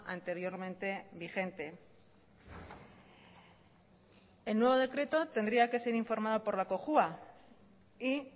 anteriormente vigente el nuevo decreto tendría que ser informado por la cojua y